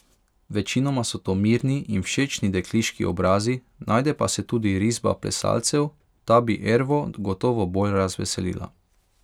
Večinoma so to mirni in všečni dekliški obrazi, najde pa se tudi risba plesalcev, ta bi Ervo gotovo bolj razveselila.